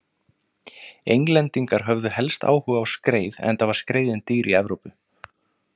Englendingar höfðu helst áhuga á skreið enda var skreiðin dýr í Evrópu.